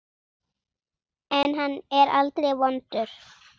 En hann er aldrei vondur.